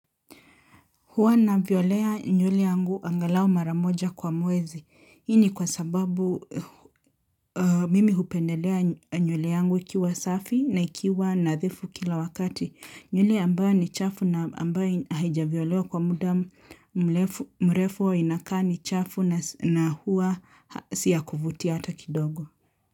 Huwa navyolea nywele yangu angalao mara moja kwa mwezi. Hii ni kwa sababu mimi hupendelea nywele yangu ikiwa safi na ikiwa nadhifu kila wakati. Nywele ambayo ni chafu na ambayo haijavyolewa kwa muda mlefu mrefu inakaa ni chafu na hua si ya kuvutia hata kidogo.